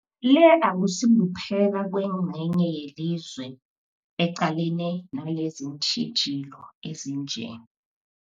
Le akusikuphela kwengcenye yelizwe eqalene naleziintjhijilo ezinje.